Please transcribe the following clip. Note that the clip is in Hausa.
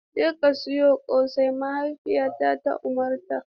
Jeka siyan ƙosai, mahaifiyata ta umarta.